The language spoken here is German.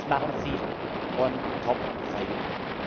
Was machen sie on top freiwillig?